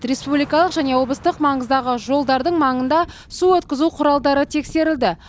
республикалық және облыстық маңыздағы жолдардың маңында су өткізу құралдары тексерілді